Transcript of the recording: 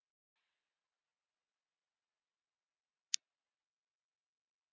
JÓHANNES: Ekki veita þeir frest.